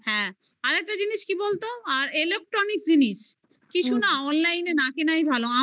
হ্যাঁ আর একটা জিনিস কি বলতো আর electronic জিনিস কিছু না online এ না কেনাই ভালো